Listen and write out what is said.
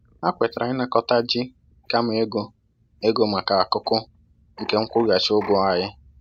Ha kwetara ịnakọta ji kama ego ego maka akụkụ nke nkwụghachi ụgwọ anyị